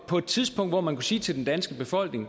på et tidspunkt hvor man kunne sige til den danske befolkning